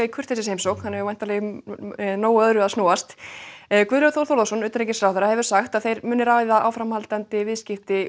kurteisisheimsókn hann hefur í nógu öðru að snúast Guðlaugur Þór Þórðarson utanríkisráðherra hefur sagt að þeir muni ræða áframhaldandi samskipti